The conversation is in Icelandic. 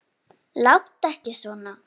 Láttu ekki svona!